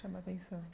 Chama atenção.